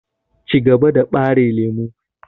Cigaba da ɓare lemu!